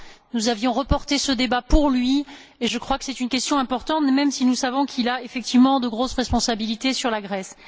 Nous avions reporté ce débat pour lui et je crois que c'est une question importante même si nous savons qu'il a effectivement de grosses responsabilités concernant la Grèce.